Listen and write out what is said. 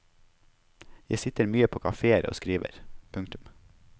Jeg sitter mye på kaféer og skriver. punktum